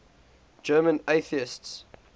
german atheists